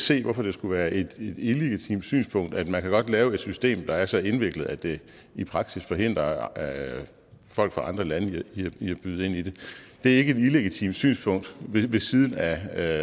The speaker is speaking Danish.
se hvorfor det skulle være et illegitimt synspunkt at man godt kan lave et system der er så indviklet at det i praksis forhindrer folk fra andre lande i at byde ind det er ikke et illegitimt synspunkt ved siden af